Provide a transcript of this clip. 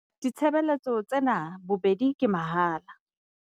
Ditshebeletso tsena bobedi ke tsa mahala.